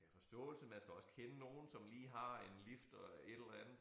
Man skal have forståelse man skal også kende nogen som lige har en lift og et eller andet